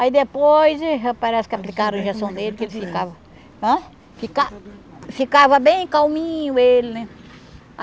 Aí depois, parece que aplicaram a injeção dele, que ele ficava... Ãh? Fica ficava bem calminho, ele, né?